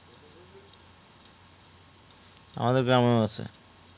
আমাদের গ্রাম ও আছে